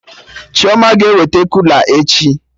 Chioma ga-eweta kula echi